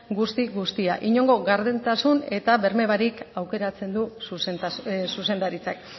guzti guztia inongo gardentasun eta berme barik aukeratzen du zuzendaritzak